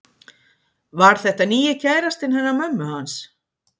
Var þetta nýji kærastinn hennar mömmu hans?